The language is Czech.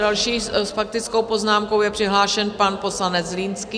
Další s faktickou poznámkou je přihlášen pan poslanec Zlínský.